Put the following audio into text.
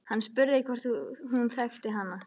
Hann spurði hvort hún þekkti hana.